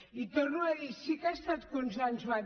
i ho torno a dir sí que ha estat consensuat